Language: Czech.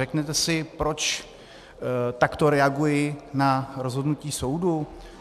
Řeknete si, proč takto reaguji na rozhodnutí soudu?